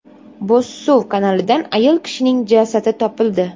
Bo‘zsuv kanalidan ayol kishining jasadi topildi.